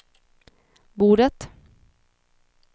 bordet